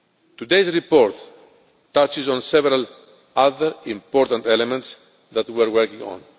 Today's report touches on several other important elements that we are working